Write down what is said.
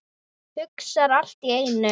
Hugsa allt í einu.